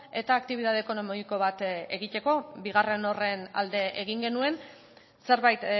eta aktibitate ekonomiko bat egiteko bigarren horren alde egin genuen zerbait